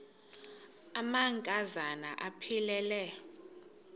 amanka zana aphilele